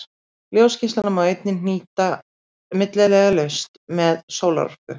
Ljósgeislana má einnig hagnýta milliliðalaust sem sólarorku.